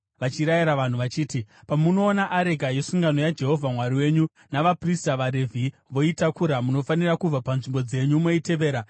vachirayira vanhu vachiti, “Pamunoona areka yesungano yaJehovha Mwari wenyu, navaprista, vaRevhi, voitakura, munofanira kubva panzvimbo dzenyu moitevera.